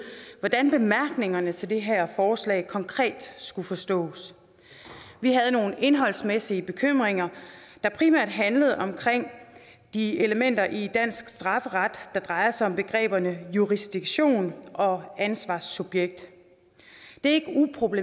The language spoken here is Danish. hvordan bemærkningerne til det her forslag konkret skulle forstås vi havde nogle indholdsmæssige bekymringer der primært handlede om de elementer i dansk strafferet der drejer sig om begreberne jurisdiktion og ansvarssubjekt det